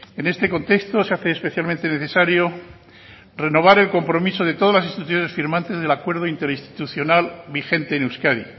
en este contexto se hace especialmente necesario renovar el compromiso de todas las instituciones firmantes en el acuerdo interinstitucional vigente en euskadi